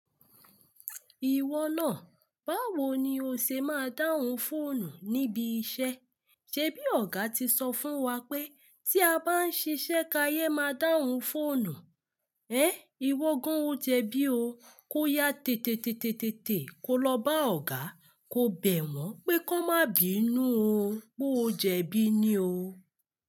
Ìwọ náà, báwo ni o ṣe máa dáhùn fóònù níbi iṣẹ́? Ṣé bí Ọ̀gá ti sọ fún wa pé tí a bá ń ṣiṣẹ́ káyé máa dáhùn fóònù. Ẹ́n, ìwọ gan o jẹ bí o. Kó yá tè tè tè tè tè tè kó lọ bá Ọ̀gá, kó bẹ̀ wọ́n pé kó má bí inú o, pé o jẹbí ní o.